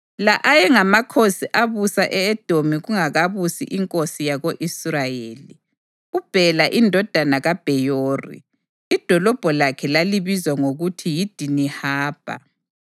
La ayengamakhosi abusa e-Edomi kungakabusi inkosi yako-Israyeli: uBhela indodana kaBheyori, idolobho lakhe lalibizwa ngokuthi yiDinihabha.